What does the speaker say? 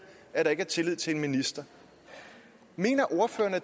at der ikke er tillid til en minister